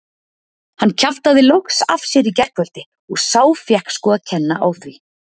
Hann kjaftaði loks af sér í gærkvöldi og sá fékk sko að kenna á því.